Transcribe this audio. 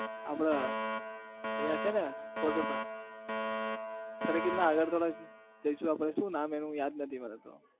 આપણે અહીંયા છે ને water park સરખેજના આગળ થોડુંક શું નામ એનું યાદ નથી મને તો.